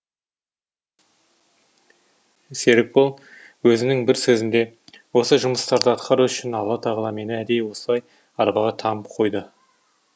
серікбол өзінің бір сөзінде осы жұмыстарды атқару үшін алла тағала мені әдейі осылай арбаға таңып қойды